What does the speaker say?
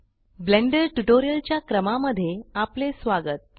blender tutorial च्या क्रमा मध्ये आपले स्वागत